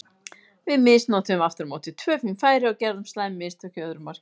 Við misnotuðum aftur á móti tvö fín færi og gerðum slæm mistök í öðru markinu.